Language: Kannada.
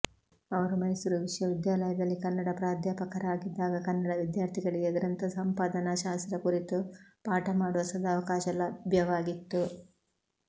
ಅವರು ಮೈಸೂರು ವಿಶ್ವವಿದ್ಯಾಲಯದಲ್ಲಿ ಕನ್ನಡ ಪ್ರಾಧ್ಯಾಪಕರಾಗಿದ್ದಾಗ ಕನ್ನಡ ವಿದ್ಯಾರ್ಥಿಗಳಿಗೆ ಗ್ರಂಥ ಸಂಪಾದನಾಶಾಸ್ತ್ರ ಕುರಿತು ಪಾಠ ಮಾಡುವ ಸದಾವಕಾಶ ಲಭ್ಯವಾಗಿತ್ತು